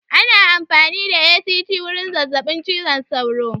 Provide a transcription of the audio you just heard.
Ana amfani da ACT wurin zazzaɓin cizon sauro